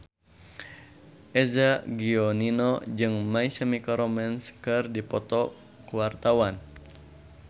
Eza Gionino jeung My Chemical Romance keur dipoto ku wartawan